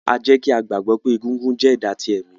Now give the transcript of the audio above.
A jẹ ki a gbagbọ pe egúngún jẹ ẹda ti ẹmi.